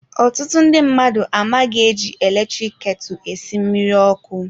Ọtụtụ ndị mmadụ amaghị eji eletrik ketu esi mmiri ọkụ.